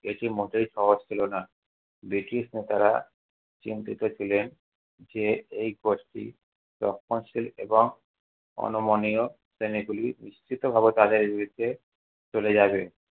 এটি মোটেই সহজ ছিল না। ব্রিটিশ লোকেরা চিন্তিত ছিলেন যে এই গোষ্ঠী রক্ষণশীল এবং অনমনীয় শ্রেণীগুলির চলে যাবে।